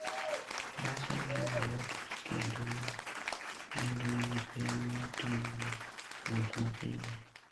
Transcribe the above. Bas en yo mayot kendo ma nengone ni piny mar timo wuoth mapile.